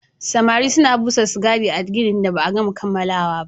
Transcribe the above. Samare suna busar sigari a ginin da ba a kammala ba